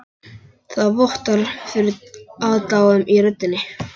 Það vottar fyrir aðdáun í röddinni.